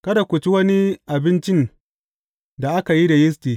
Kada ku ci wani abincin da aka yi da yisti.